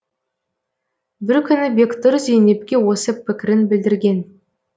бір күні бектұр зейнепке осы пікірін білдірген